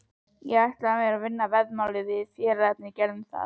Ég ætla mér að vinna veðmál sem við félagarnir gerðum.